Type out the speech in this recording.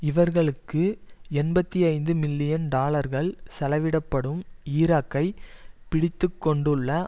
இவர்களுக்கு எண்பத்தி ஐந்து மில்லியன் டாலர்கள் செலவிடப்படும் ஈராக்கை பிடித்து கொண்டுள்ள